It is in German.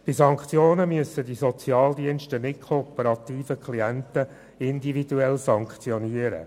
Bei Sanktionen müssen die Sozialdienste nicht kooperative Klienten individuell sanktionieren.